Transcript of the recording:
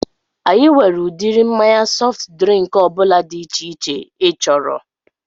Anyị nwere udiri mmanya sọft drịnk ọbụla dị iche iche ị chọrọ